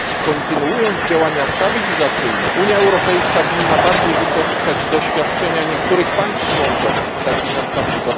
Kontynuując działania stabilizacyjne Unia Europejska powinna lepiej wykorzystać doświadczenia niektórych państw członkowskich, takich jak np.